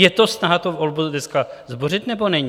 Je to snaha tu volbu dneska zbořit, nebo není?